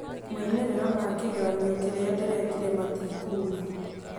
Moimĩrĩro ma kĩgeranio kĩrĩa ndĩrekire matikuuma